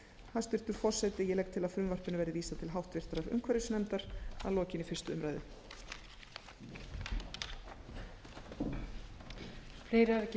hæstvirtur forseti ég legg til að frumvarpinu verði vísað til háttvirtrar umhverfisnefndar að lokinni fyrstu umræðu